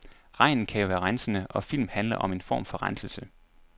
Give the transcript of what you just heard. Regn kan jo være rensende, og filmen handler om en form for renselse.